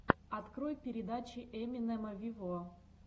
открой передачи эминема виво